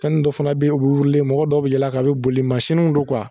Fɛnni dɔ fana be ye o be mɔgɔ dɔw be yɛl'a k'a be boli masininw do